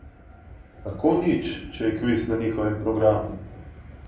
Kako nič, če je kviz na njihovem programu?